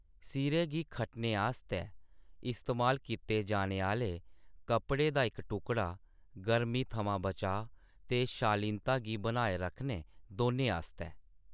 सिरै गी खट्टने आस्तै इस्तेमाल कीते जाने आह्‌ले कपड़े दा इक टुकड़ा, गर्मी थमां बचाऽ ते शालीनता गी बनाए रक्खने, दौनें आस्तै ।